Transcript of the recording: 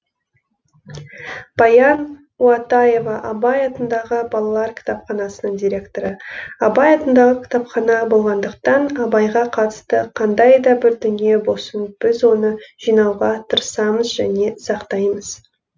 баян уатаева абай атындағы балалар кітапханасының директоры абай атындағы кітапхана болғандықтан абайға қатысты қандай да бір дүние болсын біз оны жинауға тырысамыз және сақтаймыз